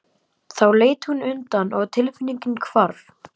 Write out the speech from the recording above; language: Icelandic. Þá leit hún undan og tilfinningin hvarf.